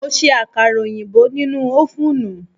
Mo ṣe àkàrà oyinbo nínú ófùnù